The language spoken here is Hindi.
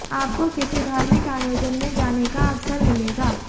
आपको किसी धार्मिक आयोजन में जाने का अवसर मिलेगा